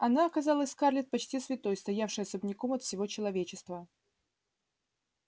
она казалась скарлетт почти святой стоявшей особняком от всего человечества